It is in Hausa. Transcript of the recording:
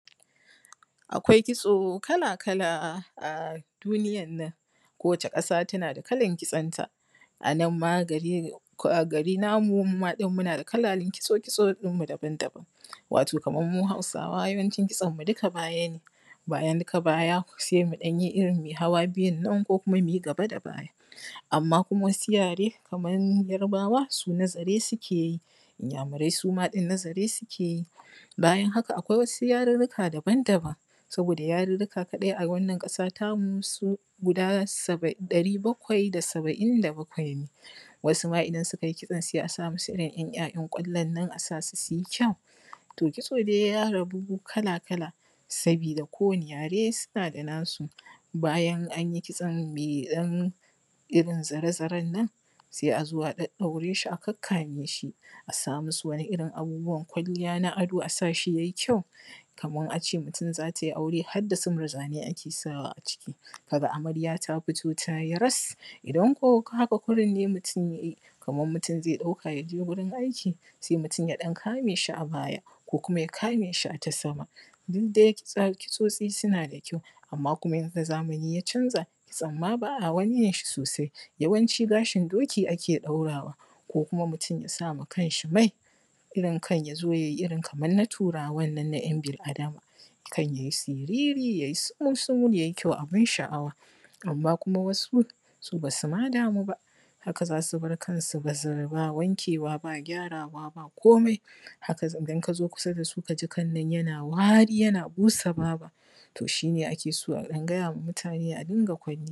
Akwai kitso kala-kala a duniyan nan kowace ƙasa tana da kalan kitson ta ko a gari namu muna da kalan kitson mu kala daban-daban wato kamar mu hausawa yawancin kitson mu dukka baya ne bayan dukka baya sai muyi irin ɗan hawa biyu ko kuma muyi gaba da baya amma wasu yare kamar yarbawa suma na zare suke yi iyamurai suma na zare suke yi bayan haka akwai wasu yarurruka daban-daban saboda yarurrukan kaɗai a wannan ƙasa ta mu su guda ɗari bakwai da saɓa’in da bakwai ne wasu ma idan sukayi kitson sai a samusu ‘ya’yan ƙwallon nan a sasu suyi kyau kitso dai ya rabu kala-kala sabida kowanni yare suna da nasu bayan anyi kitson mai ɗan irin zare-zaren nan sai a zo a ɗaɗɗaure shi a kakkame shi a sa musu wani irin abubuwan kwalliya na ado a sa shi ya yi kyau kaman a ce mutum za tayi aure harda su murjanai ake sawa a ciki ka ga amarya ta fito tayi ras idan ko haka kurin ne mutum kaman mutum zai ɗauka yaje gurin aiki sai ya kame shi a baya ko kuma ya kame shi a ta sama kitsotsi suna da kyau amma yanda zamani ya ʧanza ba a wani kitson sosai yawanʧi gaʃin doki a ke sanyawa ko mutum ya sa ma kan ʃi mai yazo ya yi irin na turawa na ˀyan bil-adama kan ya yi tsiriri ya yi sumul-sumul abun ʃaˀawa, amma kuma wasu su basu ma damu ba haka zasu bar kan bazar ba wankewa ba gyarawa ba komai haka idan kazo kusa dasu kaǳi kan nan yana wari yana busa babu to ʃi ne ake so a ɗan gaya wa mutane a dinga kwalliya